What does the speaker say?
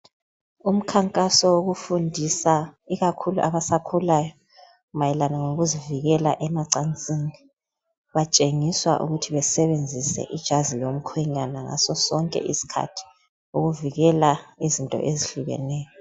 Umkhankaso wokufundisa ikakhulu abasakhulayo mayelana ngokuzivikela emacansini betshengiswa ukuthi besebenzise ijazi lomkhwenyana ngaso sonke isikhathi ukuvikela izinto ezitshiyeneyo.